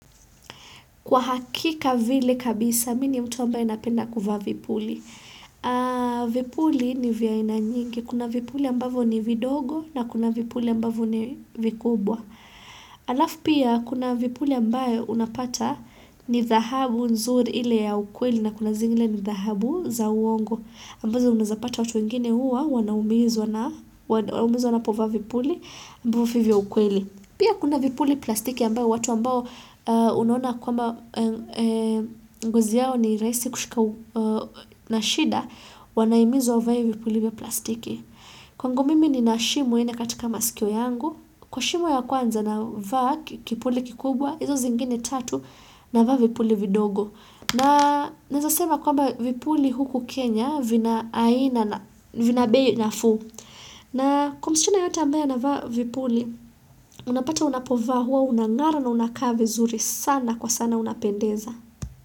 Kwa hakika vile kabisa, mi ni mtu ambaye napenda kuvaa vipuli. Vipuli ni vya aina nyingi. Kuna vipuli ambavyo ni vidogo na kuna vipuli ambavo ni vikubwa. Alafu pia kuna vipuli ambayo unapata ni dhahabu nzuri ile ya ukweli na kuna zingine ni dhahabu za uongo. Ambazo unaezapata watu wengine uwa wanaumizwa wanapovaa vipuli ambao fi vya ukweli. Pia kuna vipuli plastiki ambayo watu ambayo unaona kwamba ngozi yao ni raisi kushika na shida wanaimizwa wavae vipuli vya plastiki. Kwangu mimi nina shimo ine katika masikio yangu, kwa shimo ya kwanza navaa kipuli kikubwa, hizo zingine tatu navaa vipuli vidogo. Na naeza sema kwamba vipuli huku Kenya vina aina na vina bei nafuu. Na kwa msichana yoyote ambaye anavaa vipuli, unapata unapovaa, huwa unangara na unakaa vizuri sana kwa sana unapendeza.